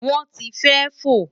won ti fe fo